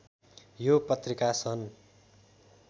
यो पत्रिका सन्